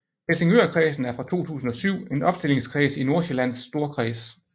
Helsingørkredsen er fra 2007 en opstillingskreds i Nordsjællands Storkreds